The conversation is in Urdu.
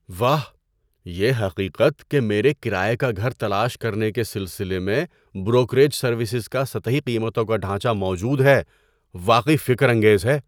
واہ، یہ حقیقت کہ میرے کرایے کا گھر تلاش کرنے کے سلسلے میں بروکریج سروسز کا سطحی قیمتوں کا ڈھانچہ موجود ہے، واقعی فکرانگیز ہے۔